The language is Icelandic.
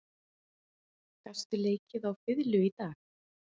Karen Kjartansdóttir: Gastu leikið á fiðlu í dag?